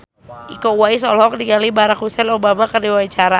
Iko Uwais olohok ningali Barack Hussein Obama keur diwawancara